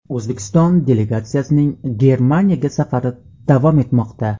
O‘zbekiston delegatsiyasining Germaniyaga safari davom etmoqda.